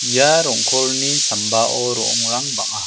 ia rong·kolni sambao ro·ongrang bang·a.